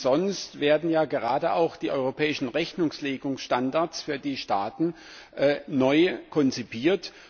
Nicht umsonst werden ja gerade auch die europäischen Rechnungslegungsstandards für die Staaten neu konzipiert.